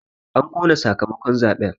An ƙona sakamakon zaɓen